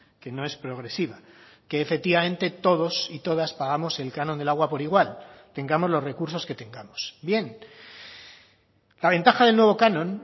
que no es progresiva que efectivamente todos y todas pagamos el canon del agua por igual tengamos los recursos que tengamos bien la ventaja del nuevo canon